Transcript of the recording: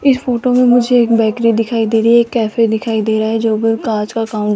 इस फोटो में मुझे एक बेकरी दिखाई दे रही है एक कैफे दिखाई दे रहा है जो भी कांच काउं--